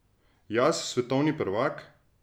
Jaz svetovni prvak?